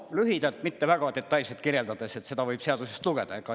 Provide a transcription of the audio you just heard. Lühidalt, mitte väga detailselt kirjeldades, seda võib seadusest lugeda.